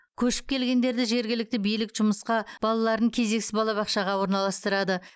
көшіп келгендерді жергілікті билік жұмысқа балаларын кезексіз балабақшаға орналастырады